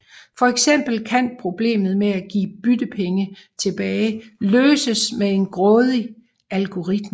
For eksempel kan problemet med at give byttepenge tilbage løses med en grådig algoritme